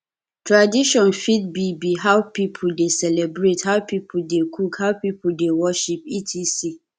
tradition fit be be how pipo de celebrate how pipo de cook how pipo de worship etc